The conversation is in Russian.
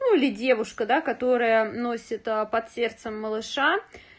ну или девушка да которая носит под сердцем малыша